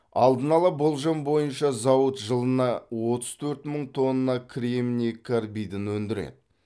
алдын ала болжам бойынша зауыт жылына отыз төрт мың тонна кремний карбидін өндіреді